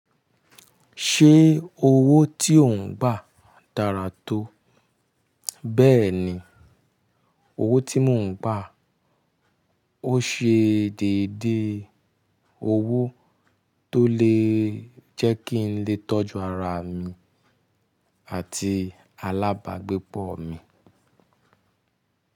Ṣé owó tí ò ń gbà dára tó? Bẹ́ẹ̀ni. Owó tí mò ń pà, ó ṣe déédéé owó tó lè jẹ́ kí n lè tọ́jú ara mi àti alábàágbépọ̀ mi.